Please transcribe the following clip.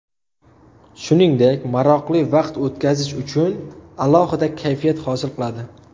Shuningdek maroqli vaqt o‘tkazish uchun alohida kayfiyat hosil qiladi.